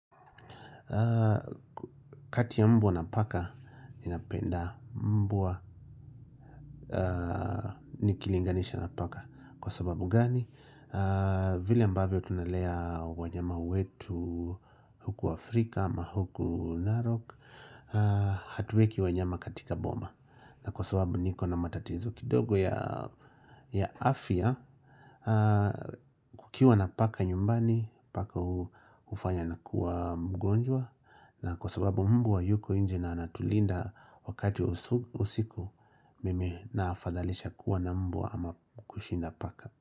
Kati ya mbwa na paka, ninapenda mbwa nikilinganisha na paka. Kwa sababu gani, vile ambavyo tunalea wanyama wetu huku Afrika ama huku Narok hatuweki wanyama katika boma na kwa sababu niko na matatizo kidogo ya afya kukiwa na paka nyumbani, paka hufanya nakuwa mgonjwa na kwa sababu mbwa yuko nje na anatulinda wakati wa usiku usiku mimi naafadhalisha kuwa na mbwa ama kushinda paka.